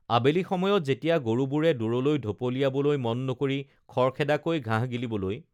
আবেলি সময়ত যেতিয়া গৰুবোৰে দূৰলৈ ঢপলিয়াবলৈ মন নকৰি খৰখেদাকৈ ঘাঁহ গিলিবলৈ